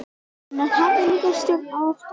En hann hafði líka stjórn á óttanum.